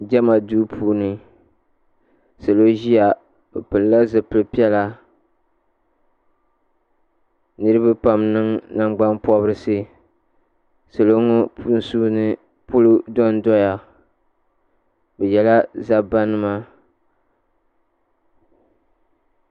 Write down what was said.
Jema duu puuni salo ʒia bɛ pilila zipil'piɛla niriba pam niŋ nangban pobrisi salo ŋɔ sunsuuni polo dondoya bɛ yela zabba nima.